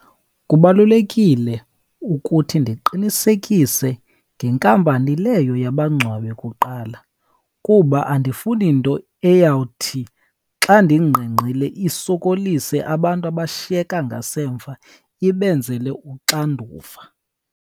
Kubalulekile ukuthi ndiqinisekise ngenkampani leyo yabangcwabi kuqala, kuba andifuni nto eyawuthi xa ndingqengqile isokolise abantu abashiyeka ngasemva, ibenzele uxanduva.